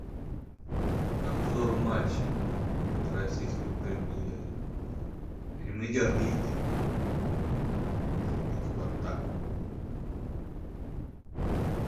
обзор матча российской премьер лиги зенит спартак